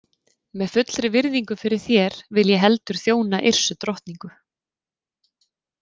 Með fullri virðingu fyrir þér vil ég heldur þjóna Yrsu drottningu.